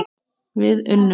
Við unnum!